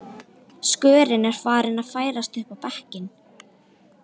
Skörin er farin að færast upp á bekkinn